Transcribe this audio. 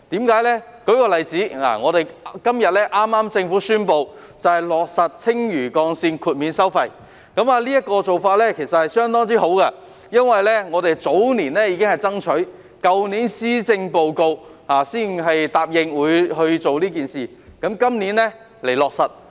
舉例來說，政府剛於今天宣布落實青嶼幹線豁免收費，這個做法相當好，我們早年已作爭取，去年的施政報告才答應落實，今年便推行這個做法。